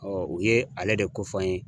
u ye ale de ko fɔ an ye.